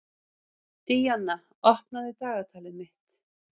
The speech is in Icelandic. Díanna, opnaðu dagatalið mitt.